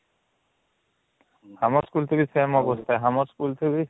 ଆମର school ଥେ ବି same ଅବସ୍ଥା ଆମର school ଥେ ବି